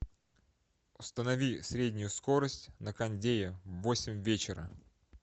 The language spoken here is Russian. установи среднюю скорость на кондее в восемь вечера